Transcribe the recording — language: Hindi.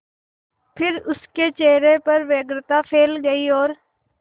फिर उसके चेहरे पर व्यग्रता फैल गई और